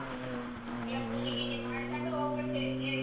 ಹ್ಮ ಎಲ್ಲಾ ಪೂಜಿ ಗೀಜಿ ಮಾಡ್ಕೊಂಡು ಹೋಗ್ಬಿಡ್ತೀರಿ ತೇರಿಗೆ.